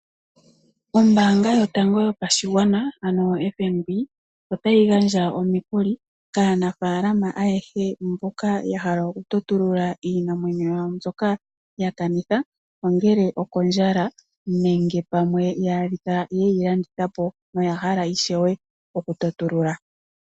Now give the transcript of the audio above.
Ombaanga yotango yopashigwana ano FNB otayi gandja omikuli kaanafalama ayehe mboka ya hala okutotulula iinamwenyo yawo mbyoka yakanitha, ongele okondjala nenge pamwe ya adhika yeyi landitha po yoya hala ishewe okutotulula.